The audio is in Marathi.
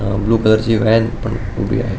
अ ब्लू कलरची व्हॅन पण उभी आहे.